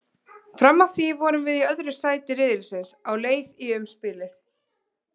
Fram að því vorum við í öðru sæti riðilsins og á leið í umspilið.